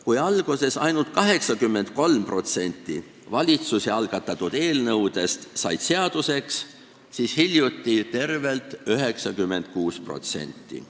Kui alguses said ainult 83% valitsuse algatatud eelnõudest seaduseks, siis hiljuti tervelt 96%.